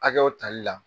Hakɛw tali la